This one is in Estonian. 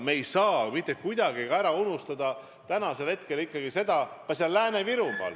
Me ei tohi siiski ära unustada ka teist poolt.